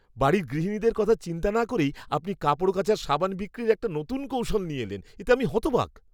বাড়ির গৃহিণীদের কথা চিন্তা না করেই আপনি কাপড় কাচার সাবান বিক্রির একটা নতুন কৌশল নিয়ে এলেন, এতে আমি হতবাক!